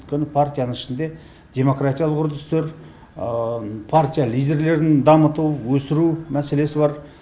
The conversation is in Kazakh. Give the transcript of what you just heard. өйткені партияның ішінде демократиялық үрдістер партия лидерлерін дамыту өсіру мәселесі бар